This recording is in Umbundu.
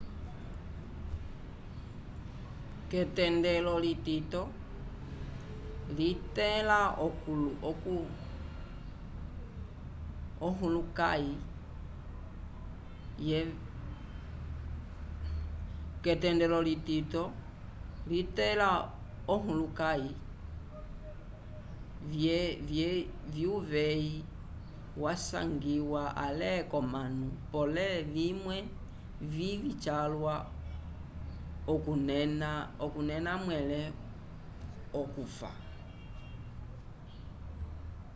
k'etendelo litito litẽla ohulukãyi vyuveyi vyasangiwa ale k'omanu pole vimwe vivĩ calwa okunena mwẽle okufa